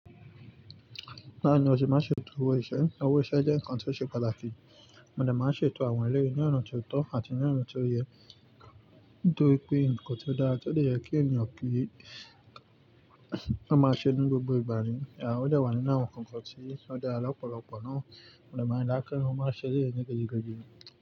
Bawo ni o se má ṣe tò owó ìṣẹ́, owó ìṣẹ́ jẹ́ nǹkan tí ó ṣe pàtàkì. Mo dè máa ṣe tò àwọn elé ní ọ̀nà tó tọ́ àti ní ọ̀nà tó yẹ, nítorí pé nǹkan tó dára, ó dọ̀ọ̀ yẹ kí ènìyàn kí i, ó máa ṣe ní gbogbo ìgbà ni, à ó dà wọ̀ nínú àwọn nǹkan tí ó dára lọ́pọ̀lọpọ̀ náà. Òòlè máa rí dáákẹ́, ó máa ṣe ilé rẹ̀ gẹ́gẹ́ gẹ́gẹ́.